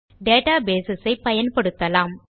data base பயன்படுத்தலாம்